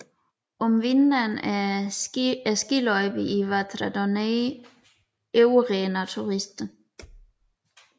Om vinteren er skiløjperne i Vatra Dornei overrendt af turister